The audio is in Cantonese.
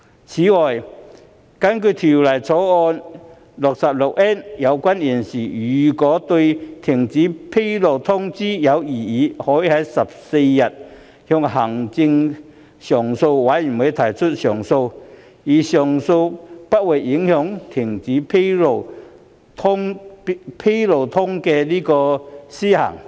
此外，根據《條例草案》第 66N 條，有關人士如對停止披露通知有異議，可在有關通知發出的14日內，向行政上訴委員會提出上訴反對該通知，而上訴程序不會影響停止披露通知的施行。